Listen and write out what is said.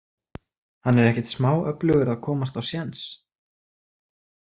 Hann er ekkert smá öflugur að komast á séns.